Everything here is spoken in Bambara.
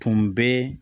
Tun bɛ